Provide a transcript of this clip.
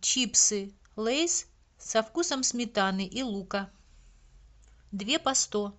чипсы лейс со вкусом сметаны и лука две по сто